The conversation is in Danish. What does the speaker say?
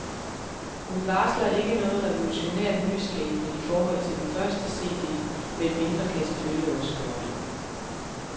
Hun varsler ikke noget revolutionært nyskabende i forhold til den første cd, men mindre kan selvfølgelig også gøre det.